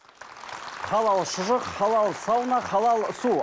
халал шұжық халал сауна халал су